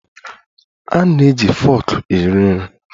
A na-eji foku eri nri.